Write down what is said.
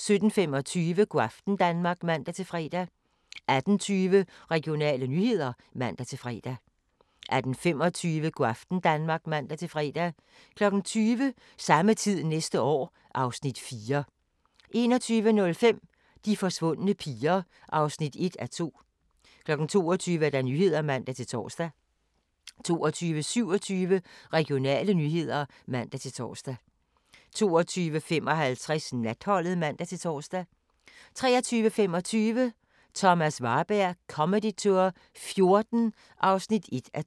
17:25: Go' aften Danmark (man-fre) 18:20: Regionale nyheder (man-fre) 18:25: Go' aften Danmark (man-fre) 20:00: Samme tid næste år (Afs. 4) 21:05: De forsvundne piger (1:2) 22:00: Nyhederne (man-tor) 22:27: Regionale nyheder (man-tor) 22:55: Natholdet (man-tor) 23:25: Thomas Warberg Comedy Tour '14 (1:2)